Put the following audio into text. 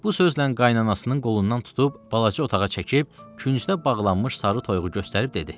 Bu sözlə qayınanasının qolundan tutub balaca otağa çəkib küncdə bağlanmış sarı toyuğu göstərib dedi.